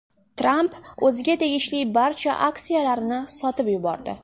Tramp o‘ziga tegishli barcha aksiyalarni sotib yubordi.